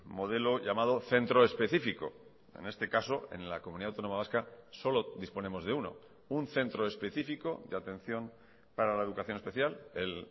modelo llamado centro específico en este caso en la comunidad autónoma vasca solo disponemos de uno un centro específico de atención para la educación especial el